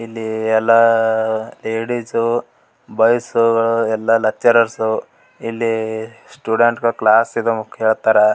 ಇಲ್ಲಿ ಎಲ್ಲಾ ladies boys ಎಲ್ಲಾ ಲೆಕ್ಚರ್ ರರ್ಸು ಇಲ್ಲಿ ಸ್ಟೂಡೆಂಟ್ ಕ್ಲಾಸ್ ಇದು ಹೇಳತರ್.